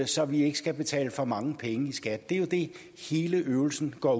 så vi ikke skal betale for mange penge i skat det er jo det hele øvelsen går